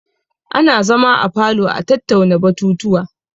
Ana zama a falo a tattauna batutuwa.